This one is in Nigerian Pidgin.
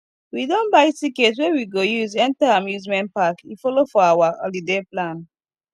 we don buy ticket wey we go use enter amusement park e follow for our holiday plan